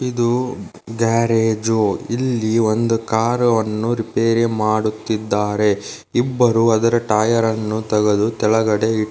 ಇದು ಗ್ಯಾರೆಜು ಇಲ್ಲಿ ಒಂದು ಕಾರ ವನ್ನು ರೇಪೆರಿ ಮಾಡುತ್ತಿದ್ದಾರೆ ಇಬ್ಬರು ಅದರ ಟೈಯಾರ್ ಅನ್ನು ತೆಗೆದು ಕೆಳಗಡೆ ಇ --